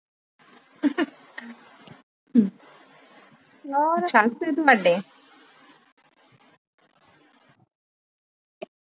ਹੋਰ